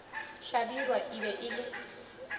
hlabirwa e be e le